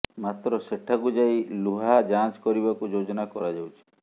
ମାତ୍ର ସେଠାକୁ ଯାଇ ଲୁହା ଯାଞ୍ଚ କରିବାକୁ ଯୋଜନା କରାଯାଉଛି